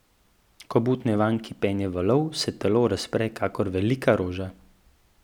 Ko butne vanj kipenje valov, se telo razpre kakor velika roža.